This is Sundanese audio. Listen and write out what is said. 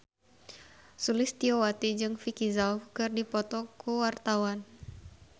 Sulistyowati jeung Vicki Zao keur dipoto ku wartawan